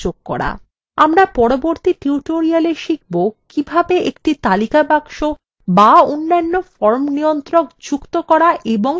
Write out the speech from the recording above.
আমরা পরবর্তী tutorial শিখব কিভাবে একটি তালিকা box অথবা অন্যান্য form নিয়ন্ত্রক যুক্ত করা এবং সেগুলিকে ব্যবহার করা যায়